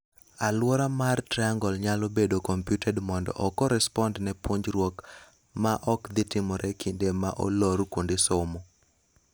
Aluora mar triangle nyalo bedo computed mondo o correspond ne puonjruok ma okdhii timore kinde ma olor kuonde somo.